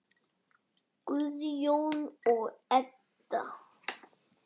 Guðjón og Edda.